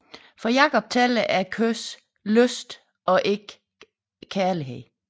For Jacob tæller kødets lyst og ikke kærligheden